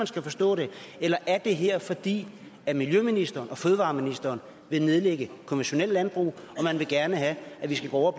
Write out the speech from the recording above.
skal forstå det eller er det her fordi miljøministeren og fødevareministeren vil nedlægge konventionelt landbrug og man vil gerne have at vi skal gå over